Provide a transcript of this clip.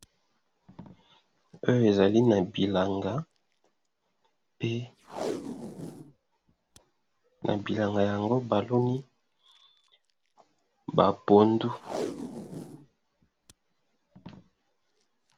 Oyo ezali na bilanga pe na bilanga yango baloni ba pondu.